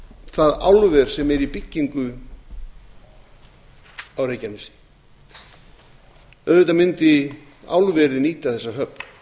það álver sem er í byggingu á reykjanesi auðvitað mundi álverið nýta þessa höfn